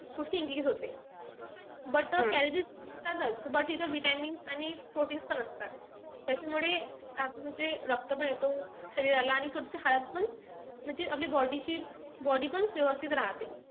थोडीशी increase होते. but calories जातात पण इथे vitamins आणि proteins पण असतात. त्याच्यामुळे म्हणजे रक्त पण येतो शरीराला. आणि थोडीशी हाडं पण म्हणजे आपल्या body ची body पण व्यवस्थित राहते.